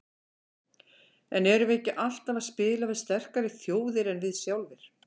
En erum við ekki alltaf að spila við sterkari þjóðir en við sjálfir?